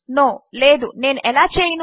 no లేదు నేను ఎలా చేయను